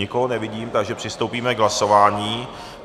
Nikoho nevidím, takže přistoupíme k hlasování.